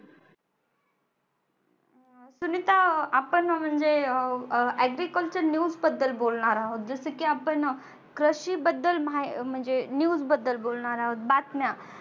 सुनिता आपण म्हणजे अह agriculture news बद्दल बोलणार आहोत जसं की आपण अह कृषी बद्दल म्हणजे news बद्दल बोलणार आहोत बातम्या